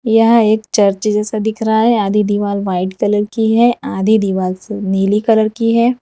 यह एक चर्च जैसा दिख रहा है आधी दीवाल व्हाइट कलर की है आधी दीवाल स नीली कलर की है।